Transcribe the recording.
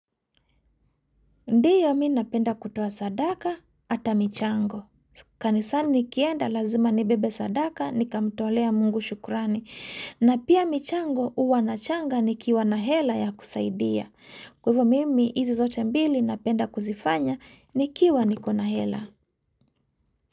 Ndiyo mi napenda kutoa sadaka ata michango. Kanisani nikienda lazima nibebe sadaka nikamtolea mungu shukrani. Na pia michango huwa nachanga nikiwa na hela ya kusaidia. Kwa hivo mimi hizi zote mbili napenda kuzifanya nikiwa niko na hela.